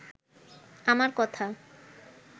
আমার কথা